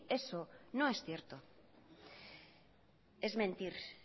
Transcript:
eso no es cierto es mentir